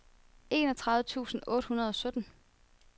enogtredive tusind otte hundrede og sytten